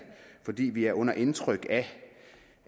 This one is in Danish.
fordi vi er under indtryk af